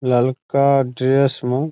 ललका ड्रेस में --